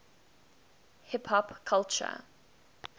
hip hop culture